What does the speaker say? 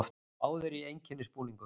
Báðir í einkennisbúningum.